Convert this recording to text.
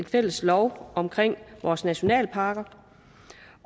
fælles lov om vores nationalparker